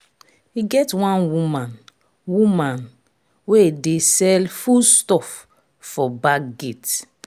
e get one woman woman wey dey sell foodstuff for back gate